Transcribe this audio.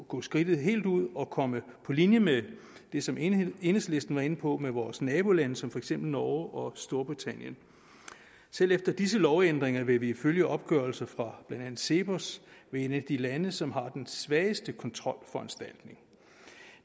gå skridtet helt ud og komme på linje med det som enhedslisten var inde på med vores nabolande som for eksempel norge og storbritannien selv efter disse lovændringer vil vi ifølge opgørelser fra blandt andet cepos være et af de lande som har den svageste kontrolforanstaltning